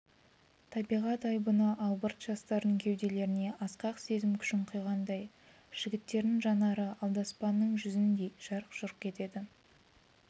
табиғат айбыны албырт жастардың кеуделеріне асқақ сезім күшін құйғандай жігіттердің жанары алдаспанның жүзіндей жарқ-жұрқ етеді